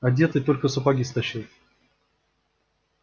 одетый только сапоги стащил